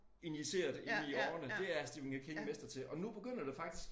Injiceret i årene det er Stephen King mester til og nu begynder det faktisk